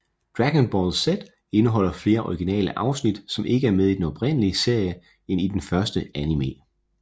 Dragon Ball Z indeholder flere originale afsnit som ikke er med i den oprindelige serie end den første anime